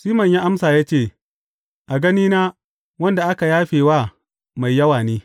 Siman ya amsa ya ce, A ganina, wanda aka yafe wa mai yawa ne.